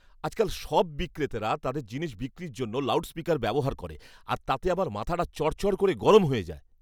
আজকাল সব বিক্রেতারা তাদের জিনিস বিক্রির জন্য লাউডস্পিকার ব্যবহার করে আর তাতে আমার মাথাটা চড়চড় করে গরম হয়ে যায়।